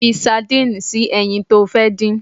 Fi sardinni sínú ẹyin to fẹ́ dín